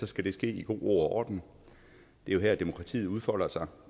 skal det ske i god ro og orden det er jo her demokratiet udfolder sig